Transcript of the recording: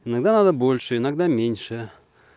иногда надо больше иногда меньше